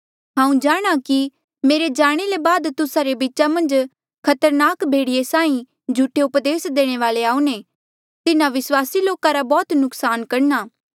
हांऊँ जाणहां कि मेरे जाणे ले बाद तुस्सा रे बीचा मन्झ खतरनाक भेड़िये साहीं झूठे उपदेस देणे वाले आऊणें तिन्हा विस्वासी लोका रा बौह्त नुक्सान करणा